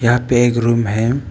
यहां पे एक रूम हैं।